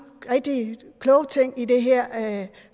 rigtig kloge ting i det her